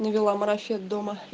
навела марафет дома